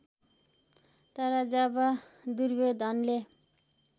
तर जब दुर्योधनले